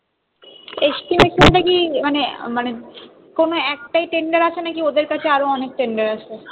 estimate মানে কি মানে কোনো একটাই tender আছে না কি ওদের কাছে আরো অনেক tender আছে